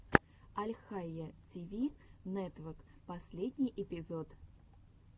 альхайя ти ви нетвок последний эпизод